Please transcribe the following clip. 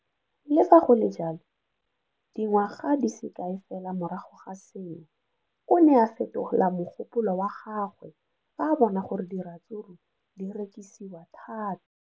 Le fa go le jalo, dingwaga di se kae fela morago ga seno, o ne a fetola mogopolo wa gagwe fa a bona gore diratsuru di rekisiwa thata.